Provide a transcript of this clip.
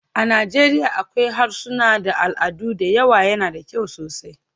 A Najeriya akwai harsuna da al'adu da yawa, yana da kyau sosai.